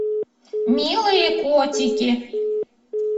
милые котики